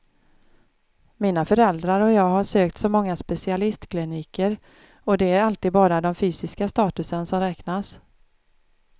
Mina föräldrar och jag har sökt så många specialistkliniker, och det är alltid bara den fysiska statusen som räknas.